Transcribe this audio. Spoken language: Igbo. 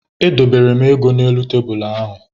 Edobere m ego n'elu tebulu ahụ.